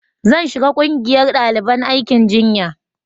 zan shiga ƙungiyar daliban aikin jinya